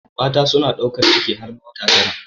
Mata suna ɗaukar ciki har wata tara.